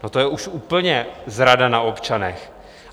No, to je už úplně zrada na občanech.